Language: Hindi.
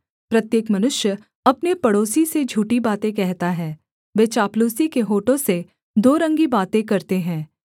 प्रत्येक मनुष्य अपने पड़ोसी से झूठी बातें कहता है वे चापलूसी के होठों से दो रंगी बातें करते हैं